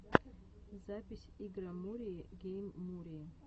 запись игромурии гейммурии